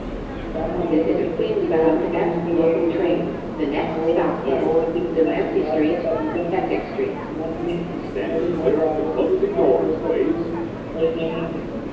ગામમાં લોકોની વસ્તી હોવાથી તેમને તે એકબીજાને ને ઓળખતા હોવાથી પોતાને વાત કરતા બીજાને વાળું માટે આપે છે તેમનામાં વ્યાકસિત કોઈ સેન્ય